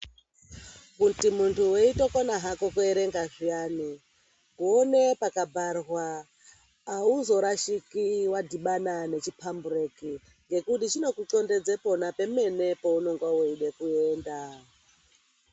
Kuti muntu weitokona kuerenga zviyani ona pakabharwa auzoshamisiki wadhibana nechipambureki nekuti chinokotsondedza pona pemene paunenge uchida kuenda.